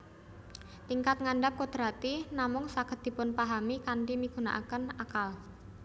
Tingkat ngandhap kodrati namung saged dipunpahami kanthi migunaaken akal